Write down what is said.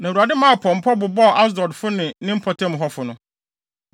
Na Awurade maa pɔmpɔ bobɔɔ Asdodfo ne ne mpɔtam hɔfo no.